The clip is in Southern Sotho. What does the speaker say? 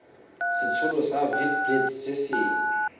setshelo sa witblits se neng